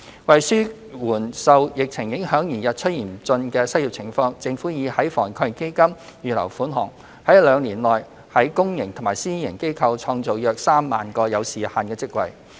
為紓緩受疫情影響而日趨嚴峻的失業情況，政府已在防疫抗疫基金預留款項，在兩年內於公營及私營機構創造約 30,000 個有時限的職位。